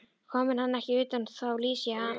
Komi hann ekki utan, þá lýsi ég hann útlægan.